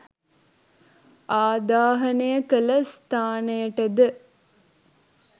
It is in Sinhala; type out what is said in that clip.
ආදාහනය කළ ස්ථානයටද